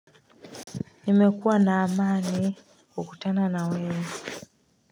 Nimekuwa na amani kukutana na wewe.